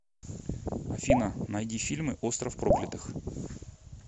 афина найди фильмы остров проклятых